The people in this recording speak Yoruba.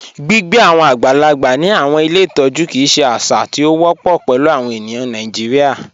Gbigbe awọn agbàlàgbà ni awọn ilẹ̀ ìtọ̀jú kíi ṣè àṣà tí o wọpọ pẹ̀lú awọn ènìyàn Nàìjíríà.